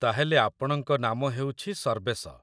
ତା'ହେଲେ ଆପଣଙ୍କ ନାମ ହେଉଛି ସର୍ବେଶ